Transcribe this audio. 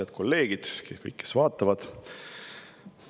Head kolleegid ja kõik, kes vaatavad!